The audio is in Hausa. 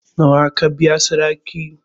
Nawa aka biya sadakin ki?